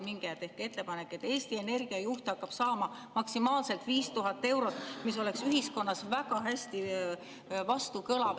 Minge ja tehke ettepanek, et Eesti Energia juht hakkab saama maksimaalselt 5000 eurot, mis kõlaks ühiskonnas väga hästi vastu.